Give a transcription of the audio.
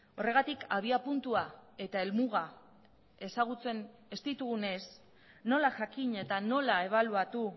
horregatik abiapuntua eta helmuga ezagutzen ez ditugunez nola jakin eta nola ebaluatu